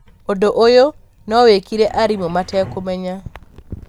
ũndũ ũyũ no wĩkĩke arimũ matekũmenya.